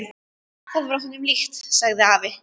Það var honum líkt, sagði afi.